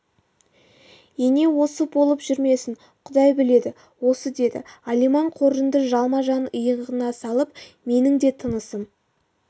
ене осы болып жүрмесін құдай біледі осы деді алиман қоржынды жалма-жан иығына салып менің де тынысым